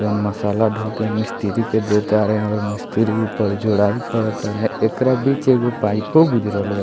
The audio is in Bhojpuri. जउन मसाला ढ़ो के मिस्त्री के दे तारें हैं और मिस्त्री ऊपर जोड़ाई कर तारे एकरा बीच एगो पाइपो गुजरल बा।